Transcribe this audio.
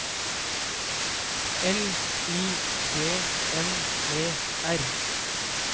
L I G N E R